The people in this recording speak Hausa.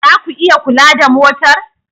Za ku iya kula da motar?